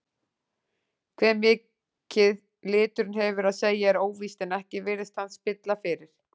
Hve mikið liturinn hefur að segja er óvíst en ekki virðist hann spilla fyrir.